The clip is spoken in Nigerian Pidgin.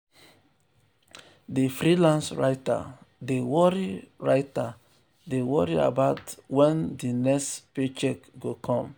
di freelance writer dey worry writer dey worry well about wen di next paycheck go come.